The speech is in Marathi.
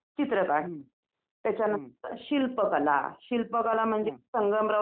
अच्छा तिथे काय पैसे वगैरे अ द्यायला लागतात का यात्रेत गेल्यानंतर कोणाला?